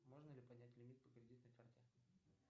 можно ли поднять лимит по кредитной карте